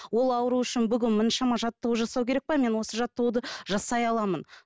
ол ауру үшін бүгін мұншама жаттығу жасау керек пе мен осы жаттығуды жасай аламын